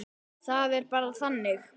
Það er bara þannig.